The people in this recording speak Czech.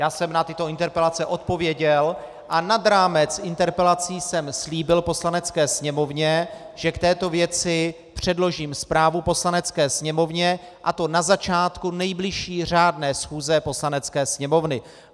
Já jsem na tyto interpelace odpověděl a nad rámec interpelací jsem slíbil Poslanecké sněmovně, že k této věci předložím zprávu Poslanecké sněmovně, a to na začátku nejbližší řádné schůze Poslanecké sněmovny.